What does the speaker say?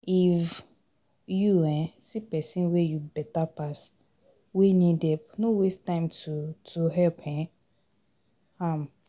If you um see pesin wey you beta pass, wey need help, no waste time to to help um am.